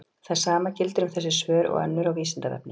Það sama gildir um þessi svör og önnur á Vísindavefnum.